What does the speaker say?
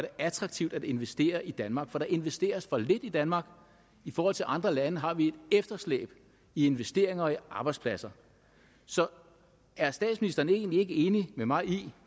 attraktivt at investere i danmark for der investeres for lidt i danmark i forhold til andre lande har vi et efterslæb i investeringer og arbejdspladser så er statsministeren egentlig ikke enig med mig i